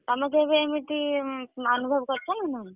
ତମେ କେବେ ଏମିତି ଅନୁଭବ କରିଚ ନା ନାଇଁ?